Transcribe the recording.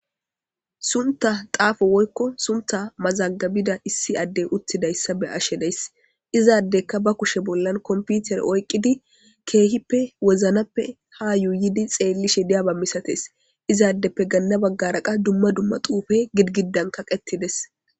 sunta xaafo woykko sunta mazagabida issi addey uttidayssa be ashe days izaaddekka ba kushe bollan komputer oyqqidi keehippe woznappe ha yuuyidi xeelli she diyaba misates izaaddeppe ganna baggaraqa dumma dumma tuufe gidgiddan kaqetides